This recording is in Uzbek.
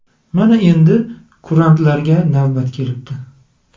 Mana endi kurantlarga navbat kelibdi.